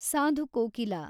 Sadhu Kokila